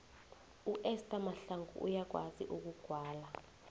uester mahlangu uyakwazi ukugwala